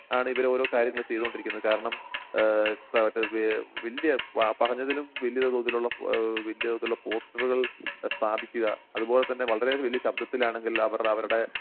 ആണ് ഇവരോരോ കാര്യങ്ങളും ചെയ്തുകൊണ്ടിരിക്കുന്നത് കാരണം ഏഹ് വല്ല്യ ആ പറഞ്ഞതിനും വലിയതോതിലുള്ള ഏഹ് വലിയതോതിലുള്ള പോസ്റ്ററുകൾ സ്ഥാപിക്കുക അതുപോലെ തന്നെ വളരെ വലിയ ശബ്ദത്തിലാണെങ്കിൽ അവർ അവരുടെ